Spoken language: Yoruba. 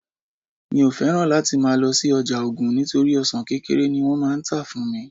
mi o fẹràn láti ma lo si oja ogun nitori ọsàn kékeré ni wón má n ta fún mi